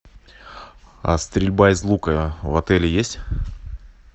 а стрельба из лука в отеле есть